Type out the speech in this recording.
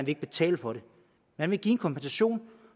ikke betale for det man vil give en kompensation